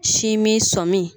Si min sɔmin